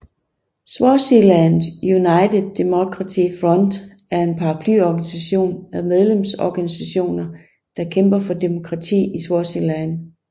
Swaziland United Democratic Front er en paraplyorganisation af medlemsorganisationer der kæmper for demokrati i Swaziland